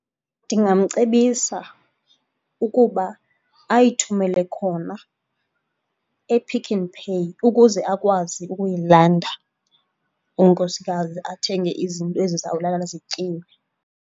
Ndingamcebisa ukuba ayithumele khona ePick 'n Pay ukuze akwazi ukuyilanda unkosikazi athenge izinto ezizawuzalala zityiwe.